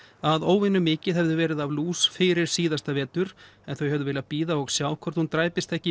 að óvenju mikið hefði verið af lús fyrir síðasta vetur en þau hefðu vilja bíða og sjá hvort hún dræpist ekki